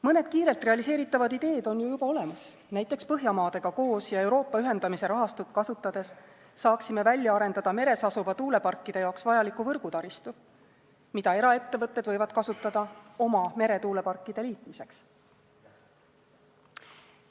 Mõned kiirelt realiseeritavad ideed on ju juba olemas: näiteks Põhjamaadega koos ja Euroopa ühendamise rahastut kasutades saaksime välja arendada meres asuva tuuleparkide jaoks vajaliku võrgutaristu, mida eraettevõtted võivad kasutada oma meretuuleparkide liitmiseks.